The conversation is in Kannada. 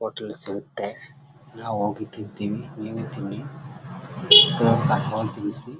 ಹೋಟೆಲ ಲ್ಲಿ ಸಿಗುತ್ತೆ ನಾವು ಹೋಗಿ ತಿಂತೀವಿ ನೀವು ತಿನ್ನಿ .